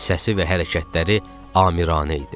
Səsi və hərəkətləri amiranə idi.